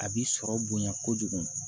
A bi sɔrɔ bonya kojugu